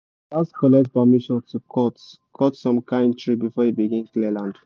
gats collect permission to cut cut some kind tree before you begin clear land